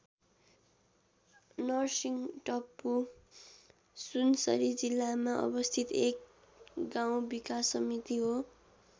नरर्सिंहटप्पु सुनसरी जिल्लामा अवस्थित एक गाउँ विकास समिति हो।